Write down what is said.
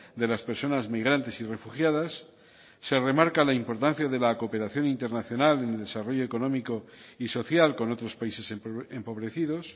de las personas migrantes y refugiadas se remarca la importancia de la cooperación internacional en el desarrollo económico y social con otros países empobrecidos